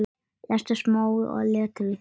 Lestu smáa letrið.